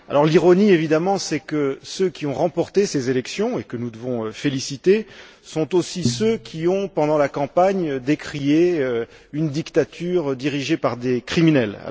L'ironie, évidemment, c'est que ceux qui ont remporté ces élections et que nous devons féliciter sont aussi ceux qui ont, pendant la campagne, décrié une dictature dirigée par des criminels.